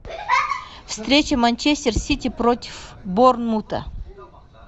встреча манчестер сити против борнмута